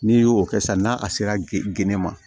N'i y'o kɛ sisan n'a sera geni ma